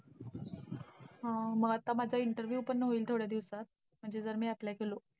अं मग आता माझा interview पण होईल थोड्या दिवसात, म्हणजे जर मी apply केलो.